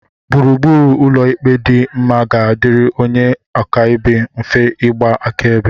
gburugburu ụlọ ikpe dị mma ga-adịrị onye akaebe mfe ịgba akaebe